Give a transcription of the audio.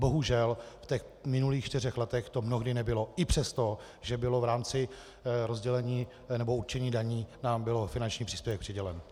Bohužel, v těch minulých čtyřech letech to mnohdy nebylo i přesto, že bylo v rámci rozdělení nebo určení daní nám byl finanční příspěvek přidělen.